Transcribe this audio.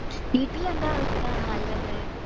വീട്ടില് എന്താവസ്ഥ നല്ലതു.